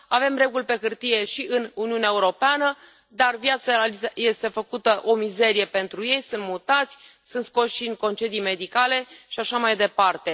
Avem reguli pe hârtie și în Uniunea Europeană, dar viața este făcută o mizerie pentru ei, sunt mutați, sunt scoși în concedii medicale și așa mai departe.